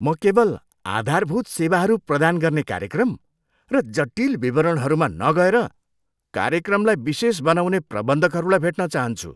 म केवल आधारभूत सेवाहरू प्रदान गर्ने कार्यक्रम र जटिल विवरणहरूमा नगएर कार्यक्रमलाई विशेष बनाउँने प्रबन्धकहरूलाई भेट्न चााहन्छु।